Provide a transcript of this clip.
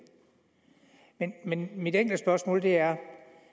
men mit enkle spørgsmål er